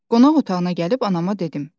Qonaq otağına gəlib anama dedim.